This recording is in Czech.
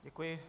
Děkuji.